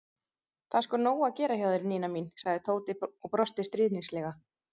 Það er sko nóg að gera hjá þér, Nína mín sagði Tóti og brosti stríðnislega.